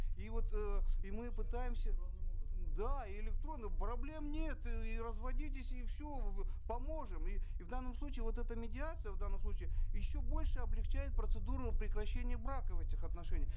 и вот э и мы пытаемся да электронно проблем нет и разводитесь и все поможем и и в данном случае вот эта медиация в данном случае еще больше облегчает процедуру прекращения брака в этих отношениях